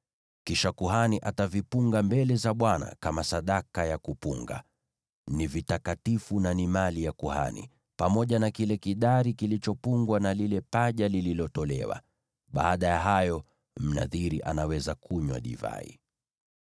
Kisha kuhani ataviinua mbele za Bwana kama sadaka ya kuinua; ni vitakatifu na ni mali ya kuhani, pamoja na kile kidari kilichoinuliwa na lile paja lililotolewa. Baada ya hayo, Mnadhiri anaweza kunywa divai.